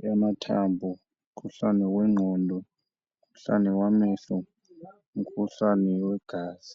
eyamathambo, umkhuhlane wengqondo, umkhuhlane wamehlo, umkhuhlane wegazi.